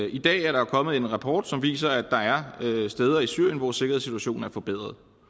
i dag er der kommet en rapport som viser at der er steder i syrien hvor sikkerhedssituationen er forbedret